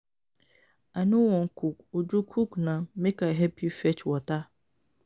I no wan cook, Uju cook na make I help you fetch water